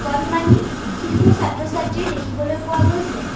কণমানি শিশু ছাত্ৰ ছাত্ৰী দেখিবলৈ পোৱা গৈছে।